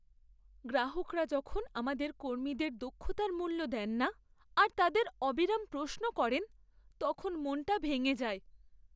গ্রাহকরা যখন আমাদের কর্মীদের দক্ষতার মূল্য দেন না আর তাদের অবিরাম প্রশ্ন করেন, তখন মনটা ভেঙে যায়।